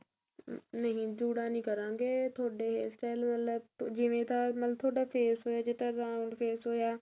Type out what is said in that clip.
ਨਹੀਂ ਜੂੜਾ ਨਹੀਂ ਕਰਾਂਗੇ ਤੁਹਾਡੇ hair style ਵਾਲਾ ਜਿਵੇਂ ਤਾਂ ਮਤਲਬ ਤੁਹਾਡਾ face ਹੋਇਆ ਜੇ ਤਾਂ round face ਹੋਇਆ